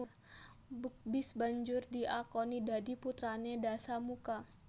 Bukbis banjur diakoni dadi putrané Dasamuka